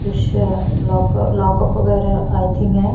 कुछ lock lockup वगैरह I think है।